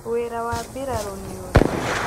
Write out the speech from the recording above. Wĩra wa mbirarũ nĩ ũrĩkũ?